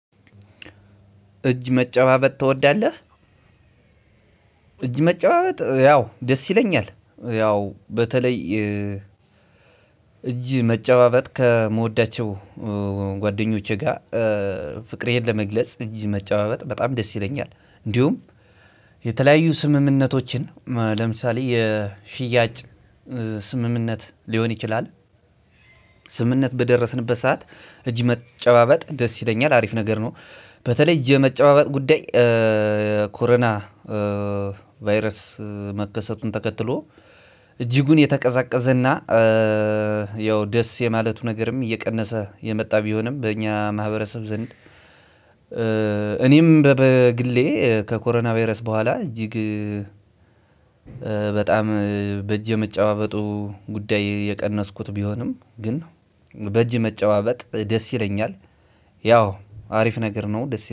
እጅ መጨባበጥ ትወዳለህ? እጅ መጨባበጥ ያው ደስ ይለኛል። ያው በተለይ እጅ መጨባበጥ ከምወዳቸው ጓደኞቼ ጋር ፍቅሬን ለመግለጽ እጅ መጨባበጥ በጣም ደስ ይለኛል። እንዲሁም የተለያዩ ስምምነቶችን ለምሳሌ የሽያጭ ስምምነት ሊሆን ይችላል ስምምነት በደረስንበት ሰዓት እጅ መጨባበጥ ደስ ይለኛል አሪፍ ነገር ነው። በተለይ እጅ የመጨባበጥ ጉዳይ ኮሮና ቫይረስ መከሰቱን ተከትሎ እጅጉን የተቀዛቀዘና ያው ደስ የማለቱ ነገርም እየቀነሰ የመጣ ቢሆንም በእኛ ማህበረሰብ ዘንድ እኔም በግሌ ከኮሮና ቫይረስ በኋላ እጅግ በጣም በእጅ የመጨባበጡ ጉዳይ የቀነስኩት ቢሆንም ግን በእጅ መጨባበጥ ደስ ይለኛል። ያው አሪፍ ነገር ነው ደስ ይላል።